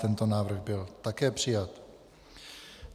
Tento návrh byl také přijat.